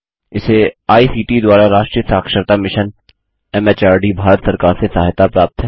इसे I C T द्वारा राष्ट्रीय साक्षरता mission M H R D Bharat सरकार से सहायता प्राप्त है